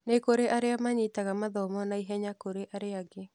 Nĩ kũrĩ arĩa manyitaga mathomo naihenya kũrĩ arĩa angĩ.